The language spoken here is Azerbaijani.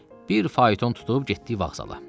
Bir fayton tutub getdik vağzala.